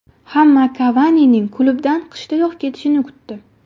Hamma Kavanining klubdan qishdayoq ketishini kutdi.